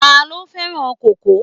Ta ló fẹ́ràn kókò?